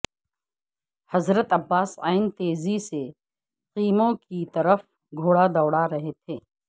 حضرت عباس ع تیزی سے خیموں کی طرف گھوڑا دوڑا رہے تھے